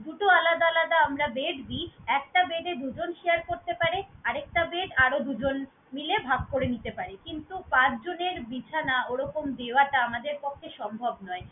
দুটো আলাদা আলাদা আমরা bed দেই। একটা bed এ দুজন share করতে পারে, আরেকটা bed আরো দুজন মিলে ভাগ করে নিতে পারে। কিন্তু পাঁচজনের বিছানা ওরকম দেওয়াটা আমাদের পক্ষে সম্ভব নয়।